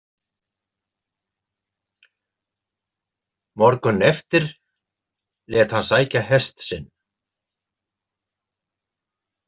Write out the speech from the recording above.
Morguninn eftir lét hann sækja hest sinn.